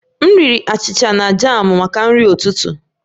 M riri achịcha na jamụ maka nri ụtụtụ